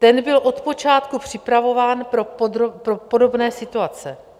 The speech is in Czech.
Ten byl od počátku připravován pro podobné situace.